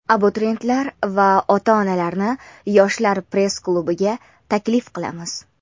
abituriyentlar va ota-onalarni "Yoshlar press klubi"ga taklif qilamiz.